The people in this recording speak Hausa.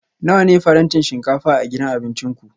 Nawa ne farantin shinkafa a gidan abincin ku?